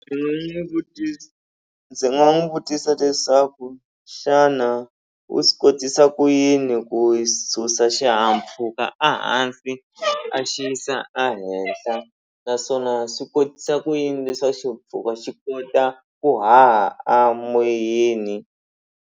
Ndzi nga n'wi vutisa ndzi nga n'wu vutisa leswaku xana u swi kotisa ku yini ku susa xihahampfhuka a hansi a xi yisa a hehla naswona swi kotisa ku yini leswaku xi kota ku haha a moyeni.